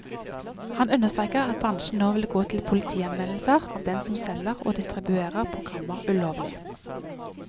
Han understreker at bransjen nå vil gå til politianmeldelser av dem som selger og distribuerer programmer ulovlig.